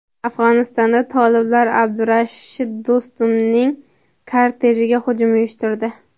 Afg‘onistonda toliblar Abdulrashid Do‘stumning kortejiga hujum uyushtirdi.